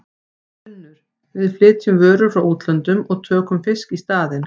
UNNUR: Við flytjum vörur frá útlöndum og tökum fisk í staðinn.